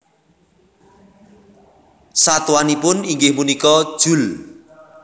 Satuanipun inggih punika Joule